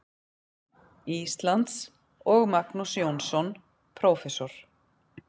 Íslands, og Magnús Jónsson, prófessor.